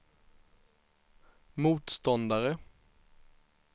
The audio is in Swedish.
motståndare